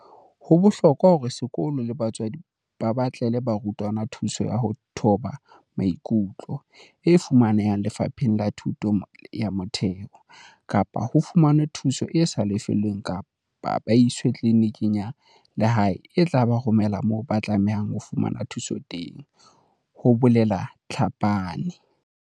"Ho bohlokwa hore sekolo le batswadi ba batlele barutwana thuso ya ho thoba maikutlo, e fumanehang Lefapheng la Thuto ya Motheo, kapa ho fumanwe thuso e sa lefellweng kapa ba iswe tliliniking ya lehae e tla ba romela moo ba tlamehang ho fumana thuso teng," ho bolela Tlhapane.